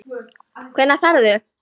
Hvenær ferðu?